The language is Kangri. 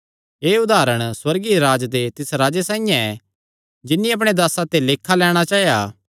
एह़ उदारण सुअर्गीय राज्ज दे तिस राजे साइआं ऐ जिन्नी अपणे दासां ते लेखा लैणां चाया